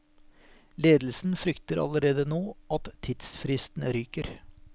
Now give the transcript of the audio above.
Ledelsen frykter allerede nå at tidsfristen ryker.